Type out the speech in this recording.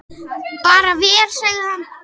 Bara vel, sagði hann.